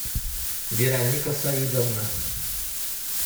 вероника саидовна